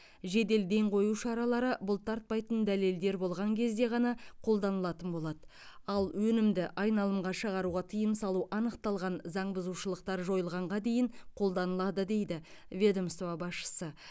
жедел ден қою шаралары бұлтартпайтын дәлелдер болған кезде ғана қолданылатын болады ал өнімді айналымға шығаруға тыйым салу анықталған заң бұзушылықтар жойылғанға дейін қолданылады дейді ведомство басшысы